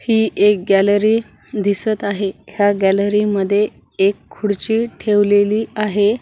ही एक गॅलरी दिसत आहे ह्या गॅलरी मध्ये एक खुर्ची ठेवलेली आहे.